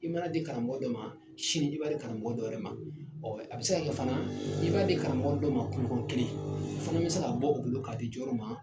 I man'a di karamɔgɔ dɔ ma sini i b'a di karamɔgɔ dɔ wɛrɛ ma ɔ a bɛ se la fana i b'a di karamɔgɔ dɔ ma kunɲɔgɔn kelen a fana bɛ se ka bɔ o bolo k'a di jɔwɛrɛ ma